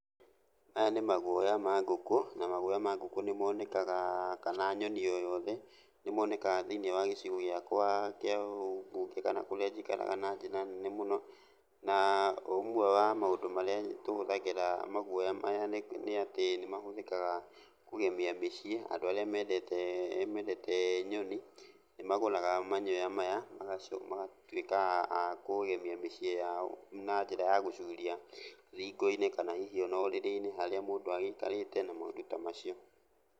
Maya nĩ magũoya ma ngũkũ, na magũoya mangũkũ nĩ moneka kana nyoni o yothe ,nĩmonekaga thĩinĩ wa gĩcigĩ gĩakwa kana kũrĩa njikaraga na njĩra nene mũno, na ũmwe wa maũndũ marĩa tũhũthagĩra magũoya maya nĩ nĩatĩ nĩ mahũthĩkaga kũgemĩa mĩciĩ , andũ arĩa mendete mendete nyoni, nĩmagũraga manyoya maya magacoka magatwĩka a kũgemĩa mĩciĩ yao, na njĩra ya gũcũria thingo inĩ kana hihi ona ũrĩrĩ-inĩ harĩa mũndũ agĩikarĩte kana maũndũ ta macio.